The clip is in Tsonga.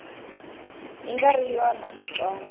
yi nga ri yona switsongo